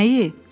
Nəyi?